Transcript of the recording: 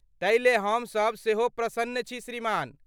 तै ले हम सब सेहो प्रसन्न छी श्रीमान।